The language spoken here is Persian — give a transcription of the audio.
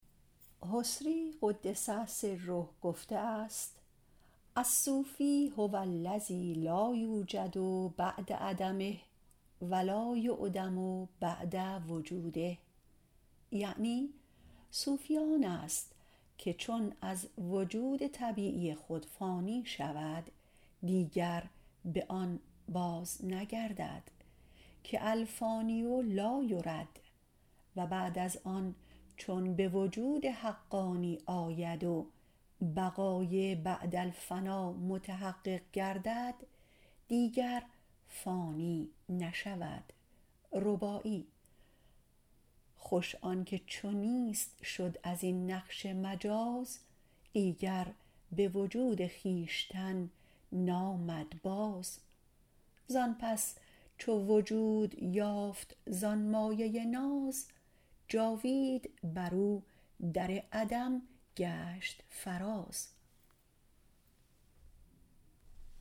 حصری - قدس الله تعالی سره - گفته است الصوفی هوالذی لایوجد بعد عدمه و لایعدم بعد وجوده یعنی صوفی آن است که چون از وجود طبیعی خود فانی شود دیگر به آن باز نگردد که الفانی لا یرد و بعد از آن چون به وجود حقانی و بقای بعد الفنا محقق گردد دیگر فانی نشود خوش آن که چون نیست شد از این نقش مجاز دیگر به وجود خویشتن نامد باز زان پس چو وجود یافت زان مایه ناز جاوید بر او در عدم گشت فراز